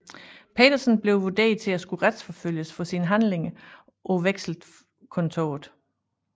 Petersen blev vurderet til at skulle retsforfølges for sine handlinger på Vekselkontoret